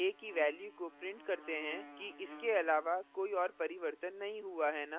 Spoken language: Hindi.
हम पुनः यह देखने के लिए a की value को print करते हैं कि इसके अलावा कोई और परिवर्तन नहीं हुआ है न